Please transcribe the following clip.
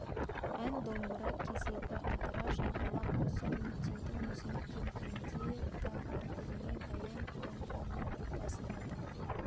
ән домбыра кезегі қыдыра жағалап осы үмітейдің өзне келгенде да іркілмей баян-аулыны бастады